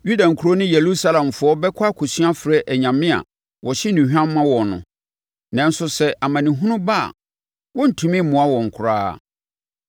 Yuda nkuro ne Yerusalemfoɔ bɛkɔ akɔsu afrɛ anyame a wɔhye nnuhwam ma wɔn no, nanso sɛ amanehunu ba a wɔrentumi mmoa wɔn koraa.